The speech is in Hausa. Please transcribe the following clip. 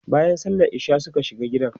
bayan sallan isha'i Suka shiga gidan